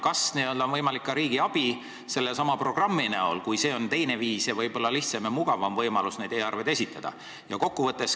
Kas on võimalik ka riigi abi sellesama programmi kujul, kui see on teine ning võib-olla lihtsam ja mugav võimalus neid e-arveid esitada?